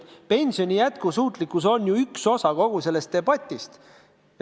Pensioni jätkusuutlikkus on ju üks osa kogu sellest debatist.